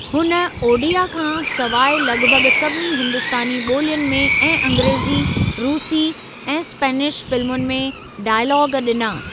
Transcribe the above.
हुन ओडिया खां सवाइ लॻभॻ सभिनी हिंदुस्तानी ॿोलियुनि में ऐं अंग्रेज़ी, रूसी ऐं स्पेनिश फ़िलमुनि में डाइलाग ॾिना।